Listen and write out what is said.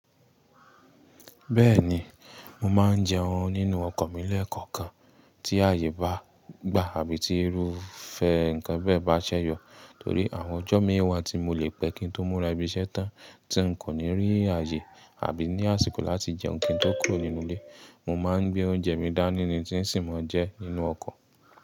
Bẹ́ẹ̀ni, mo ma n jẹun nínú ọkọ̀ mí lẹkọ̀ọ̀kan tí àyè bá gbà àbí tí irúfẹ ǹkan bẹ́ẹ̀ bá ṣẹ́ yọ. Torí àwọn ọjọ́ mí wà tí mo lè pẹ́ kí n tó múra ibi iṣẹ́ tán tí n kò ní rí àyè àbí ní àsìkò láti jẹun kí n tó kúrò nínú ilé, mo má n gbé oúnjẹ mi dá ní ni tí n sì mọ̀ jẹ nínú ọkọ̀.